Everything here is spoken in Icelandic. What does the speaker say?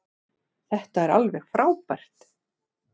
Þetta er alveg frábært.